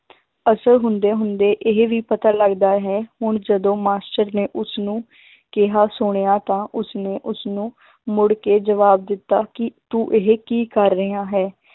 ਅਸਰ ਹੁੁੰਦੇ ਹੁੰਦੇ ਇਹ ਵੀ ਪਤਾ ਲੱਗਦਾ ਹੈ ਹੁਣ ਜਦੋਂ ਮਾਸ਼ਟਰ ਨੇ ਉਸਨੂੰ ਕਿਹਾ ਸੁਣਿਆ ਤਾਂ ਉਸਨੇ ਉਸਨੂੰ ਮੁੜ ਕੇ ਜਵਾਬ ਦਿੱਤਾ ਕਿ ਤੂੰ ਇਹ ਕੀ ਕਰ ਰਿਹਾ ਹੈ,